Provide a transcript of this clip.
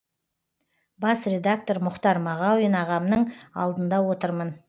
бас редактор мұхтар мағауин ағамның алдында отырмын